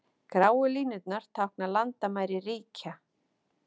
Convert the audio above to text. Gráu línurnar tákna landamæri ríkja.